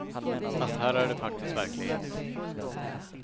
Fast här är det faktiskt verklighet.